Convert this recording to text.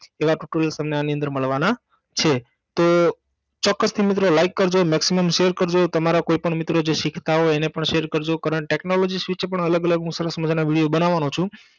એવા Tutorials તમને આની અંદર મળવાના છે તો ચોકસથી મિત્રો like કરજો Maximum share કરજો તમારા કોઈ પણ મિત્ર જે શીખતા હોય એને પણ share કરજો Current Technology Switch પણ અલગ અલગ હું સરસ મજાનાં વિડિયો હું બનાવવાનો છું